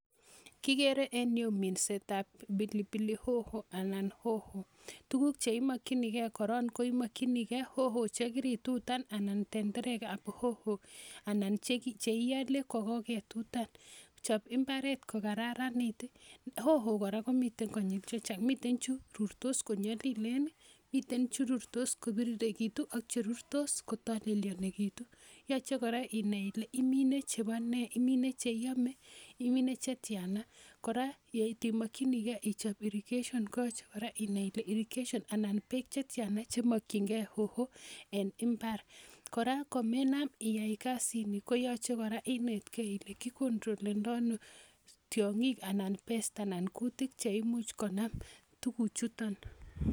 Kikere enyu minsetab pilipili hoho anan hoho. Tukuk cheimokchinigei korok ko hoho chekiritutan anan tenderekab hoho anan cheiole kokaketutan. Chop mbaret kokararanit. Hoho kora komiten konyil chechang, miten chu rurtosn konyalilekitu, mitei cherurtos kopiriritu ako mitei cherurtos kotalelienitu. Yachei kora inai ile imine chebo ne, imine cheame, imine chetiana. Kora yeit imakchinigei ichop irrigation koyachei kora inai ile irrigation anan beek chetiana chemakchingei hoho en mbar. Kora komenam iyai kasini koyachei kora inai ile kicontrolendoi ano tiong'ik anan pes t anan kutik cheimuch konam.